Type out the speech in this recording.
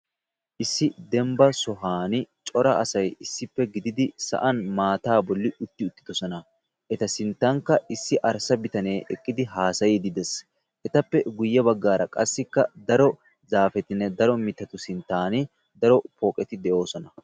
Issi dembba sohuwan cora asay issippe gididi sa'an maata bolli utti uttidoosona eta sinttankka issi arssa bitanee haasayiidi des; Etappe guyye baggaara qassi daro zaafetinne daro mittatu sinttan daro pooqeti de'oosona.